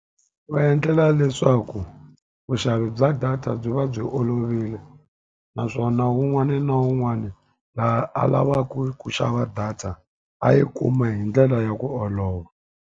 Va endlela leswaku vuxavi bya data byi va byi olovile, naswona wun'wani na wun'wani laha a lavaka ku xava data a yi kuma hi ndlela ya ku olova.